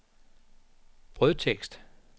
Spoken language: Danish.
brødtekst